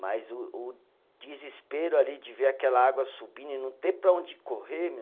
Mas o o desespero ali de ver aquela água subindo e não ter para onde correr, meu.